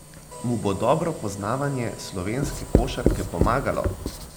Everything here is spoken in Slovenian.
Mu bo dobro poznavanje slovenske košarke pomagalo?